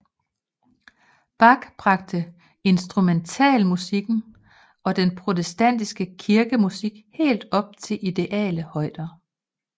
Bach bragte instrumentalmusikken og den protestantiske kirkemusik helt op til ideale højder